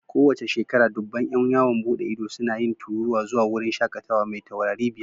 Kowace shekara, dubban ƴan yawon bude ido suna yin tururuwa zuwa wurin shakatawa mai taurari biyar.